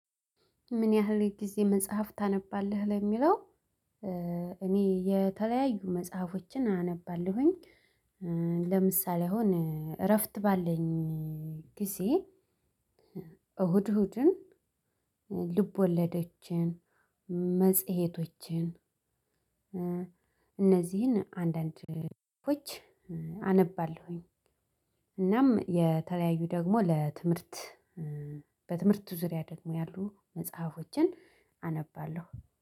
ምን ያህል ጊዜ መጽሐፍ ታነባለህ ለሚለው? እኔ የተለያዩ መጽሐፎችን አነባለሁኝ። ለምሳሌ አሁን እረፍት ባለኝ ጊዜ። እሁድ እሁድን ልብወለዶችን መጽሄቶችን እነዚህን አንዳንድ ልጆች አነባለሁኝ። እናም የተለያዩ ደግሞ ለትምህርት በትምህርቱ ዙሪያ ደግሞ ያሉ መጽሐፎችን አነባለሁ